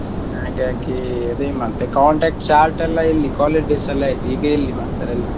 ಹಾಗಾಗಿ ಅದೇ ಮತ್ತೆ contact chat ಯೆಲ್ಲ ಎಲ್ಲಿ ಅದು college days ಅಲ್ಲೆ ಆಯ್ತು ಈಗ ಎಲ್ಲ ಮಾಡ್ತಾರೆ ಎಲ್ಲ.